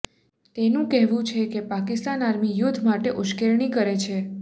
તેનું કહેવું છે કે પાકિસ્તાન આર્મી યુદ્ધ માટે ઉશ્કેરણી કરે છે